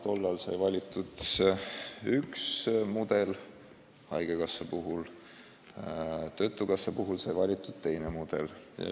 Tollal sai valitud üks mudel haigekassa puhul, töötukassa puhul sai valitud teine mudel.